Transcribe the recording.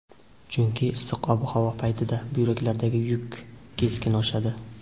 Chunki issiq ob-havo paytida buyraklardagi yuk keskin oshadi.